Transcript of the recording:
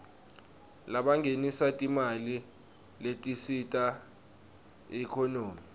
labangenisa timali letisita iekhonomy